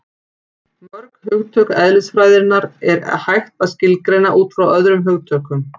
Mörg hugtök eðlisfræðinnar er hægt að skilgreina út frá öðrum hugtökum.